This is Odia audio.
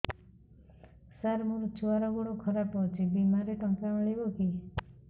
ସାର ମୋର ଛୁଆର ଗୋଡ ଖରାପ ଅଛି ବିମାରେ ଟଙ୍କା ମିଳିବ କି